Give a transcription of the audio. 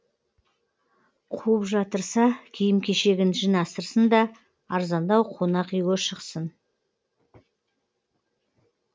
қуып жатырса киім кешегін жинастырсын да арзандау қонақ үйге шықсын